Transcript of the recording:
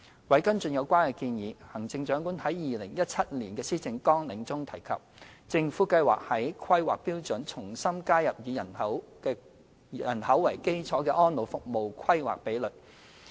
為跟進有關建議，《行政長官2017年施政綱領》中提及，政府計劃在《規劃標準》重新加入以人口為基礎的安老服務規劃比率。